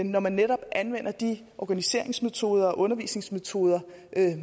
når man netop anvender de organiseringsmetoder og undervisningsmetoder